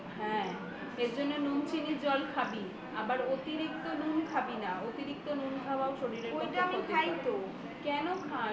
হ্যাঁ এর জন্য নুন চিনির জল খাবি আবার অতিরিক্ত নুন খাবিনা অতিরিক্ত নুন খাওয়াও শরীরের পক্ষে ক্ষতিকারক কেন খাস